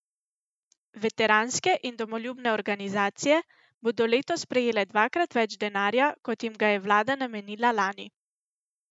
Veteranske in domoljubne organizacije bodo letos prejele dvakrat več denarja, kot jim ga je vlada namenila lani.